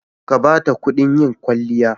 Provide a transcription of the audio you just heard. Ka ba ta kuɗin yin kwaliya.